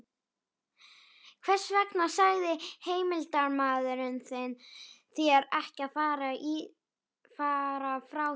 Hvers vegna sagði heimildarmaður þinn þér ekki frá þessu?